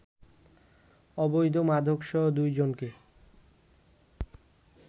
অবৈধ মাদকসহ দুই জনকে